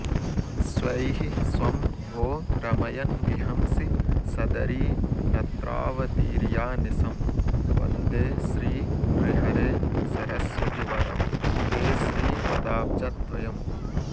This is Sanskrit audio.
स्वैः स्वं भो रमयन्विहंसि सदरीनत्रावतीर्यानिशम् वन्दे श्रीनृहरे सरस्वति वरं ते श्रीपदाब्जद्वयम्